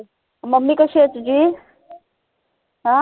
mummy कशी आहे तुझी?